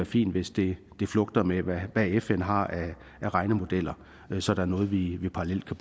fint hvis det flugter med hvad fn har af regnemodeller så der er noget vi parallelt kan